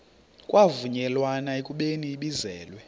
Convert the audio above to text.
kwavunyelwana ekubeni ibizelwe